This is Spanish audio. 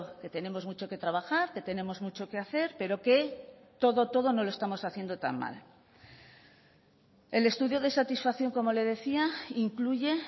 que tenemos mucho que trabajar que tenemos mucho que hacer pero que todo todo no lo estamos haciendo tan mal el estudio de satisfacción como le decía incluye